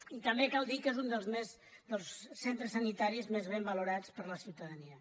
i també cal dir que és un dels centres sanitaris més ben valorats per la ciutadania